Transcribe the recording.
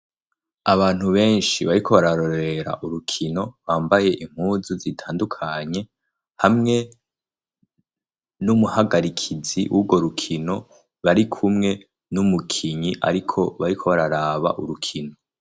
Abantu benshi bariko bararorera urukino bambaye impuzu zitandukanye, hamwe n'umuhagarikizi w'urwo rukino barikumwe n'umukinyi ariko bariko bararaba urukino.